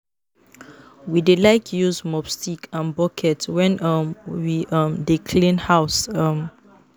We dey like use mop stick and bucket wen um we um dey clean house. um